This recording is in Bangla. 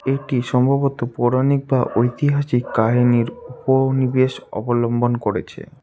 এটি সম্ভবত পৌরাণিক বা ঐতিহাসিক কাহিনীর উপনিবেশ অবলম্বন করেছে।